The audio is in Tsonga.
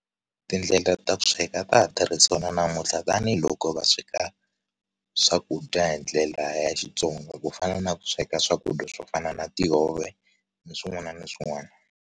Tindlela ta sweka a ta ha tirhisiwa na namuntlha tanihiloko va sweka swakudya hindlela ya Xitsongo kufana na ku sweka swakudya swo fana na tihove na swin'wana na swin'wana.